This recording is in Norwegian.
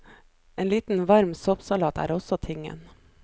En liten varm soppsalat er også tingen.